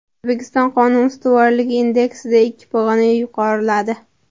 O‘zbekiston Qonun ustuvorligi indeksida ikki pog‘ona yuqoriladi.